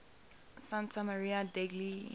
santa maria degli